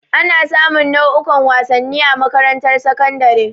Ana sa mun nau'ukan wasanni a makarantar sakandare.